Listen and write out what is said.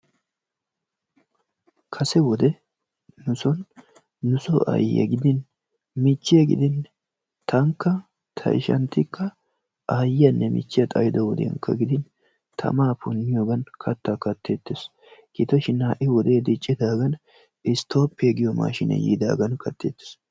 Kase wode nu son nusoo aayyiya gidin michchiya gidin tankka ta ishanttiikka aayiyaanne michchiya xayido wodiyankka gidin tamaa punniyoogan kattaa katteettes. Gido shin ha'i wodee diccidaagan istoobbiya giyo maashshiine yiidaagan katteettes.